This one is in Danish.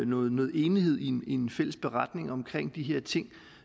noget noget enighed i en en fælles beretning omkring de her ting